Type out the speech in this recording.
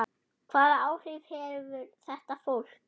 Hvaða áhrif hefur þetta fólk?